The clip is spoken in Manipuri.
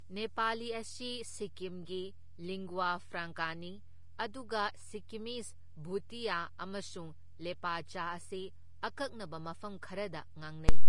ꯅꯦꯄꯥꯂꯤ ꯑꯁꯤ ꯁꯤꯛꯀꯤꯝꯒꯤ ꯂꯤꯡꯒ꯭ꯋꯥ ꯐ꯭ꯔꯥꯡꯀꯥꯅꯤ, ꯑꯗꯨꯒ ꯁꯤꯛꯀꯤꯝꯃꯤꯖ ꯚꯨꯇꯤꯌꯥ ꯑꯃꯁꯨꯡ ꯂꯦꯄꯆꯥ ꯑꯁꯤ ꯑꯀꯛꯅꯕ ꯃꯐꯝ ꯈꯔꯗ ꯉꯥꯡꯅꯩ꯫